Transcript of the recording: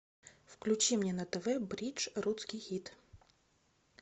включи мне на тв бридж русский хит